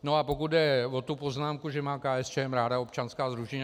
No a pokud jde o tu poznámku, že má KSČM ráda občanská sdružení.